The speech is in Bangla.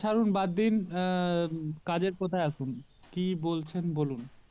ছাড়ুন বাদ দিন আহ কাজের কথায় আসুন কি বলছেন বলুন